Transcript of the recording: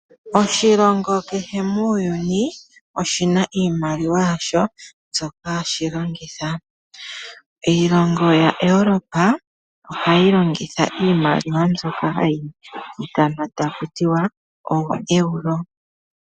Oshilongo kehe muuyuni oshina iimaliwa yasho ndyoka hashi longitha. Iilongo yaEurope ohayi longitha iimaliwa ndyoka hayi ithanwa takutiwa ooEURO.